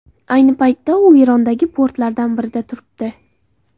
Ayni paytda u Erondagi portlardan birida turibdi.